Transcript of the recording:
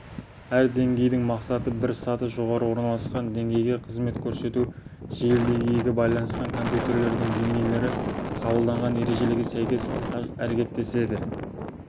әр деңгейдің мақсаты бір саты жоғары орналасқан деңгейге қызмет көрсету желідегі екі байланысқан компьютерлердің деңгейлері қабылданған ережелерге сәйкес әрекеттеседі